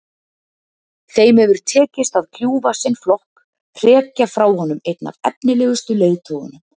Þeim hefur tekist að kljúfa sinn flokk, hrekja frá honum einn af efnilegustu leiðtogunum.